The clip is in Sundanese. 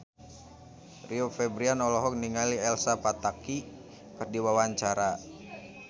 Rio Febrian olohok ningali Elsa Pataky keur diwawancara